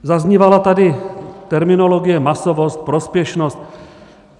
Zaznívala tady terminologie masovost, prospěšnost.